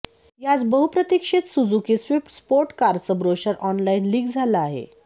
याच बहुप्रतिक्षित Suzuki Swift sport कारचं ब्रोशर ऑनलाईन लीक झालं आहे